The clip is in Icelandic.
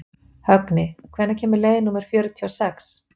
Högni, hvenær kemur leið númer fjörutíu og sex?